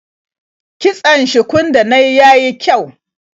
Kitson shukun da na yi ya yi kyau.